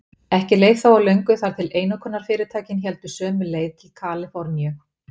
Ekki leið þó á löngu þar til einokunarfyrirtækin héldu sömu leið til Kaliforníu.